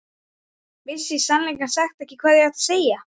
Vissi í sannleika sagt ekki hvað ég átti að segja.